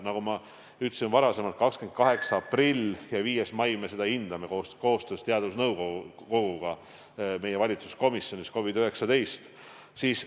Nagu ma olen ka varem öelnud, 28. aprillil ja 5. mail me hindame seda koostöös teadusnõukoguga meie COVID-19 valitsuskomisjonis.